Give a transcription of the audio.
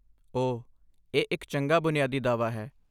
ਓਹ, ਇਹ ਇੱਕ ਚੰਗਾ ਬੁਨਿਆਦੀ ਦਾਅਵਾ ਹੈ।